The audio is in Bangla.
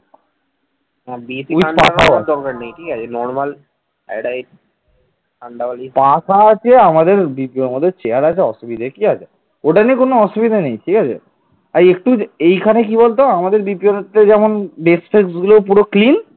ওটা নিয়ে কোন অসুবিধা নাই ঠিক আছে এই একটু এখানে কি বলতো আমাদের আমাদের দ্বিতীয় হচ্ছে যেমন desk টেক্সটগুলো যেমন পুরো clean